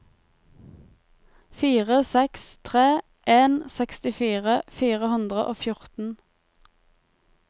fire seks tre en sekstifire fire hundre og fjorten